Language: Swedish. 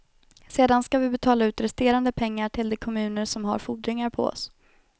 Sedan skall vi betala ut resterande pengar till de kommuner som har fordringar på oss.